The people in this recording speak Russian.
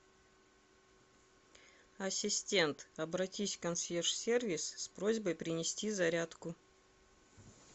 ассистент обратись в консьерж сервис с просьбой принести зарядку